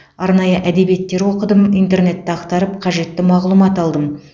арнайы әдебиеттер оқыдым интернетті ақтарып қажетті мағлұмат алдым